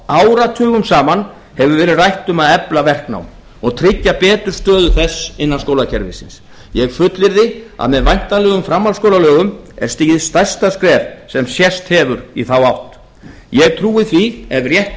áratugum saman hefur verið rætt um að efla verknám og tryggja betur stöðu þess innan skólakerfisins ég fullyrði að með væntanlegum framhaldsskólalögum er stigið stærsta skref sem sést hefur í þá átt ég trúi því ef rétt